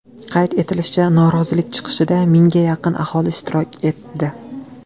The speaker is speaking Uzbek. Qayd etilishicha, norozilik chiqishida mingga yaqin aholi ishtirok etdi.